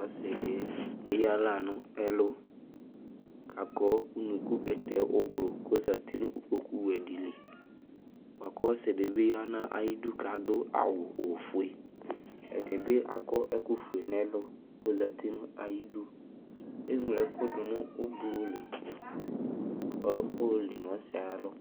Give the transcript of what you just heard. Ɔsɩ dɩ eyǝ aɣla nʋ ɛlʋ kʋ akɔ unuku bɛtɛ oblʋ kʋ ɔzati nʋ ikpokuwɛ dɩ li bʋa kʋ ɔsɩ dɩ bɩ ya nʋ ayidu kʋ adʋ awʋ ofue Ɛdɩ bɩ akɔ ɛkʋfue nʋ ɛlʋ kʋ ɔzati nʋ ayidu Eŋlo ɛkʋ dʋ nʋ oblʋ li kʋ ayɔli nʋ ɔsɩ yɛ ayalɔ